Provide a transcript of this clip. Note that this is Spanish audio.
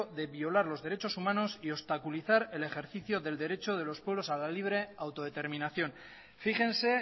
de violar los derechos humanos y obstaculizar el ejercicio del derecho de los pueblos a la libre autodeterminación fíjense